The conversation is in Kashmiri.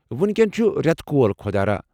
وُنکٮ۪ن چُھ رٮ۪تہٕ کول خۄدا راہ۔